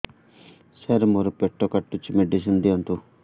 ସାର ମୋର ପେଟ କାଟୁଚି ମେଡିସିନ ଦିଆଉନ୍ତୁ